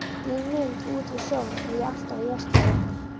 Mína mynd út við sjóinn hef ég alltaf í veskinu.